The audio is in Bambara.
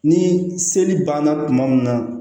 Ni seli banna tuma min na